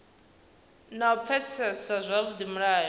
na u pfesesa zwavhudi mulayo